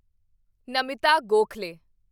Namita Gokhale